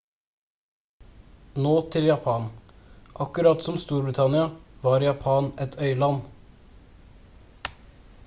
nå til japan akkurat som storbritannia var japan et øyland